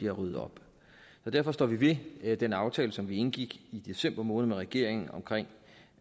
at rydde op derfor står vi ved den aftale som vi indgik i december måned med regeringen omkring